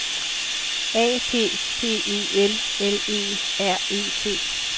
A P P E L L E R E T